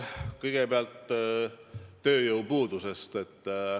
Kõigepealt tööjõupuudusest.